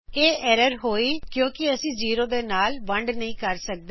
ਇਹ ਐਰਰ ਹੋਈ ਕਿਉਕਿ ਅਸੀ ਜ਼ੇਰੋ ਦੇ ਨਾਲ ਵੰਡ ਨਹੀਂ ਕਰ ਸਕਦੇ